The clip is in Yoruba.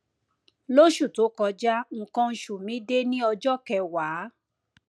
lóṣù tó kọjá nnkan oṣù mi dé ní ọjọ kẹwàá